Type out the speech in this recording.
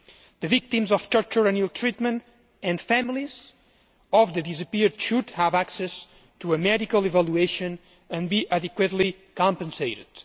The victims of torture and ill treatment and the families of the disappeared should have access to a medical evaluation and be adequately compensated.